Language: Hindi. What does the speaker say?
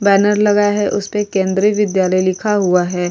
बैनर लगा है उस पे केंद्रीय विद्यालय लिखा हुआ है।